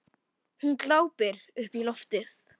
Hún glápir upp í loftið.